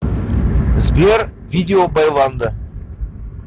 сбер видео байландо